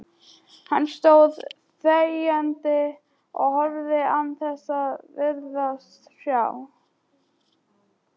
Hann stóð þegjandi og horfði án þess að virðast sjá.